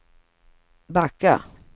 backa